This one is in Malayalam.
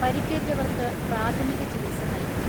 പരിക്കേറ്റവർക്ക് പ്രാഥമിക ചികിത്സ നൽകി.